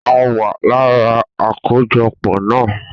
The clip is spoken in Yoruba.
A wa lára akojọpọ na